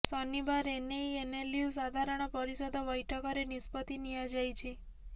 ଶନିବାର ଏନେଇ ଏନ୍ଏଲ୍ୟୁ ସାଧାରଣ ପରିଷଦ ବୈଠକରେ ନିଷ୍ପତ୍ତି ନିଆଯାଇଛି